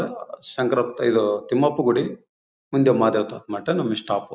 ಆಹ್ಹ್ ಶಂಕರಪ್ ಇದು ತಿಮ್ಮಪ್ಪ ಗುಡಿ ಮುಂದೆ ಮಠ ನಮ್ ಸ್ಟಾಪ್ .